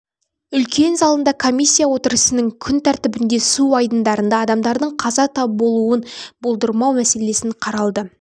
үлкен залында комиссия отырысының күн тәртібінде су айдындарында адамдардың қаза болуын болдырмау мәселесі қаралды осы